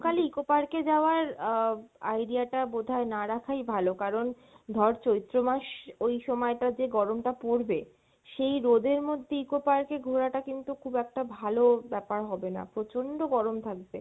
কালে Eco park এ যাওয়ার আহ idea টা বোধহয় না রাখাই ভালো, কারন ধর চৈত্র মাস ওই সময় টা যে গরম টা পরবে, সেই রোদের মধ্যে Eco Park এ ঘোরাটা কিন্তু খুব একটা ভালো ব্যাপার হবে না, প্রচণ্ড গরম থাকবে